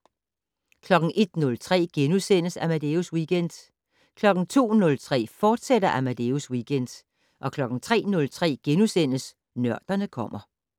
01:03: Amadeus Weekend * 02:03: Amadeus Weekend, fortsat 03:03: Nørderne kommer *